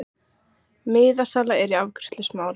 Miðasala er í afgreiðslu Smárans.